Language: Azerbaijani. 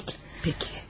Pəki, pəki.